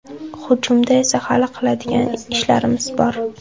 Hujumda esa hali qiladigan ishlarimiz bor.